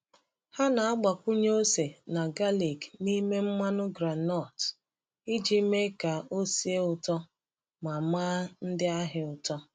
Ha na-agbakwunye ose na galik n’ime mmanụ groundnut iji mee ka ọ sie ụtọ ma maa ndị ahịa ụtọ.